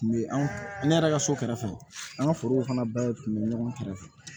Kun bɛ an ne yɛrɛ ka so kɛrɛfɛ an ka forow fana bɛɛ kun bɛ ɲɔgɔn kɛrɛfɛ